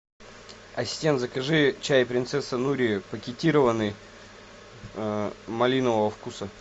ассистент закажи чай принцесса нури пакетированный малинового вкуса